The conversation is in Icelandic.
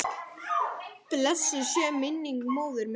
Blessuð sé minning móður minnar.